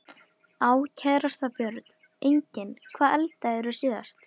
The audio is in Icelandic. Á kærasta Börn: Engin Hvað eldaðir þú síðast?